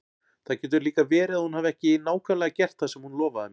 Það getur líka verið að hún hafi ekki nákvæmlega gert það sem hún lofaði mér.